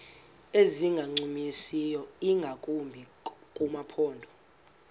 ezingancumisiyo ingakumbi kumaphondo